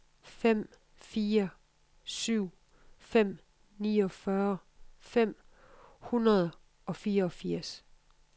fem fire syv fem niogfyrre fem hundrede og fireogfirs